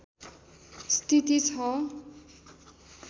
स्थिति छ